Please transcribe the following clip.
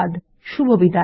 শুভবিদায়